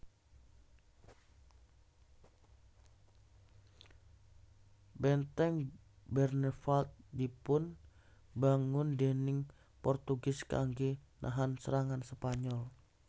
Benteng Bernevald dipun bangun déning Portugis kangge nahan serangan Spanyol